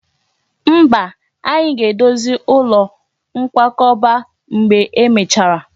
Mba, anyị ga-edozi ụlọ nkwakọba mgbe e mechara